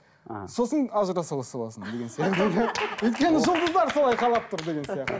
аха сосын ажыраса саласың деген сияқты өйткені жұлдыздар солай қалап тұр деген сияқты